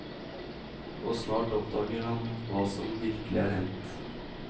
Og snart oppdager han hva som virkelig er hendt.